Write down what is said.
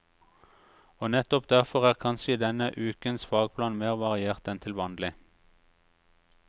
Og nettopp derfor er kanskje denne ukens fagplan mer variert enn til vanlig.